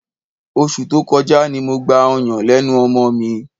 Oṣù tó kọjá ni mo gba ọyàn lẹ́nu ọmọ mi.